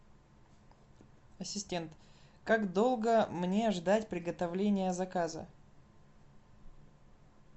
ассистент как долго мне ждать приготовления заказа